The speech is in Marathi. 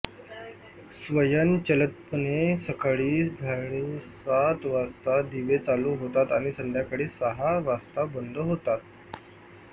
स्वयंचलितपणे सकाळी साडे सात वाजता दिवे चालू होतात आणि संध्याकाळी सहा वाजता बंद होतात